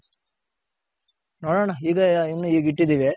ನೋಡೋಣ ಇದೆ ಇನ್ನ ಈಗಿಟ್ಟಿದಿವಿ.